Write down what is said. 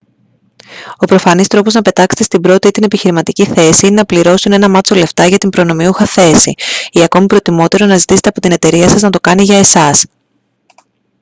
ο προφανής τρόπος να πετάξετε στην πρώτη ή την επιχειρηματική θέση είναι να πληρώσουν ένα μάτσο λεφτά για την προνομιούχα θέση ή ακόμα προτιμότερο να ζητήστε από την εταιρεία σας να το κάνει για εσάς